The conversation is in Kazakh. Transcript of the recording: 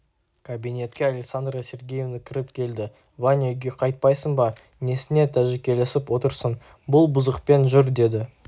кабинетке александра сергеевна кіріп келді ваня үйге қайтпайсың ба несіне тәжікелесіп отырсың бұл бұзықпен жүр деді